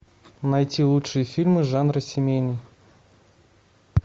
найти лучшие фильмы жанра семейный